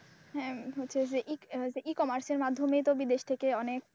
হ্যাঁ হচ্ছে যে E commerce এর মাধ্যমেই তো বিদেশ থেকে অনেক,